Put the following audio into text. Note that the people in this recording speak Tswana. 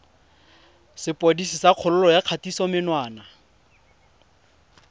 sepodisi sa kgololo ya kgatisomenwa